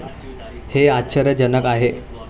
हे आश्चर्यजनक आहे.